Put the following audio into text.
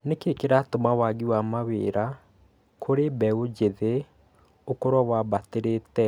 Nĩ kĩĩ kĩratũma waagi wa mawĩra kũrĩ mbeũ njĩthĩ ũkorwo wambatĩrĩte?